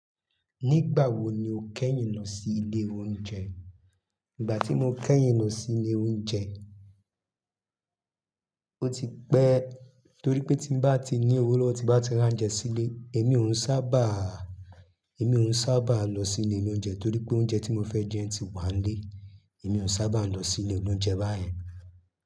Nígbà wo ni o kẹ́yìn lọ sí ilé oúnjẹ? Ígbà tí mo kẹ́yìn lọ sí ilé oúnjẹ, ó ti pẹ́ torí pé tí ń bá ti ní owó lọ́wọ́, tí bá ti rán jẹ sílé, èmi òún sábà, èmi òún sábà lọ sí ilé oloúnjẹ torí pé oúnjẹ tí mo fẹ́ jẹ ti wà nílé. Èmi ò sábà lọ sí ilé oloúnjẹ báyen.